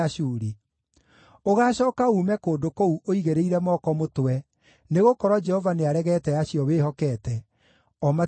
Ũgaacooka uume kũndũ kũu ũigĩrĩire moko mũtwe, nĩgũkorwo Jehova nĩaregete acio wĩhokete, o matigagũteithia.